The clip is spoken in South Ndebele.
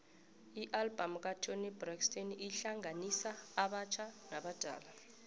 ialbum katoni braxton ihlanganisa abatjha nabadala